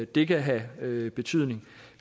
det kan have betydning